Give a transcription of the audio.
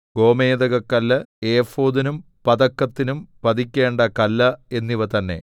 ഗോമേദകക്കല്ല് ഏഫോദിനും പതക്കത്തിനും പതിക്കേണ്ട കല്ല് എന്നിവ തന്നെ